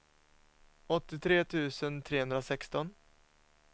åttiotre tusen trehundrasexton